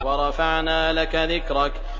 وَرَفَعْنَا لَكَ ذِكْرَكَ